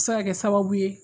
A bɛ se ka kɛ sababu ye.